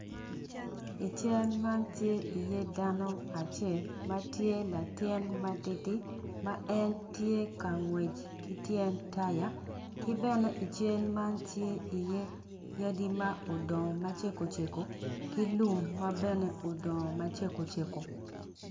I cal man tye i ye dano acel matye latin matidi ma en tye ka ngwec ki tyen taya kibene i cal man tye i ye yadi ma odongo macego cego ki lum mabene odongo macego cego.